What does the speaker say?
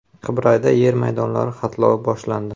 Qibrayda yer maydonlari xatlovi boshlandi.